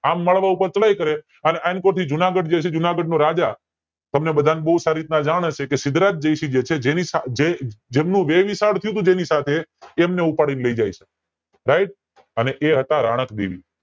આમ માળવા ઉપર ચડાઈ કરે અને આન કોર થી જૂનાગઢ છે જૂનાગહનો રાજા તમને બધા ને બોવ સારી રીતે સીધ્ધરાજ જયસિંહ છે એની સાથે જે જેનું વેવિશાળ થયું તું તેમને ઉપાડી ને લય જાય છે તેનું નામ છે રાણક દેવી